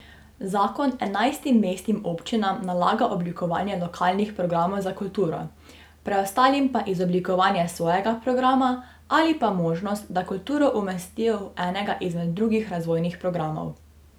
Zakon enajstim mestnim občinam nalaga oblikovanje lokalnih programov za kulturo, preostalim pa izoblikovanje svojega programa ali pa možnost, da kulturo umestijo v enega izmed drugih razvojnih programov.